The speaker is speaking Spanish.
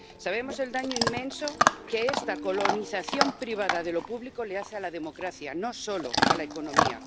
Sabemos el daño inmenso que esta colonización privada de lo público le hace a la democracia, no solo a la economía.